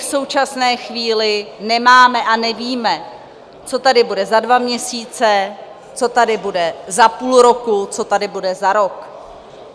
V současné chvíli nemáme a nevíme, co tady bude za dva měsíce, co tady bude za půl roku, co tady bude za rok.